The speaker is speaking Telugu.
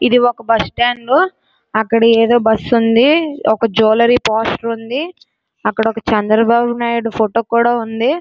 ఇది ఒక బస్టాండు . అక్కడ ఏదో ఒక బస్సు ఉంది . ఒక జువెలరీ పోస్టర్ ఉంది. అక్కడ చంద్రబాబు నాయుడు ఫోటో కూడా ఉంది.